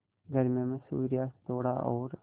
गर्मियों में सूर्यास्त थोड़ा और